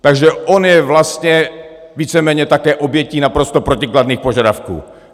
Takže on je vlastně víceméně také obětí naprosto protikladných požadavků.